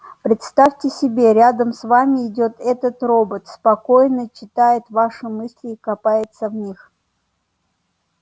представьте себе рядом с вами идёт этот робот спокойно читает ваши мысли и копается в них